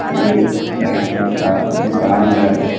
यह साइकिल का दुकान है।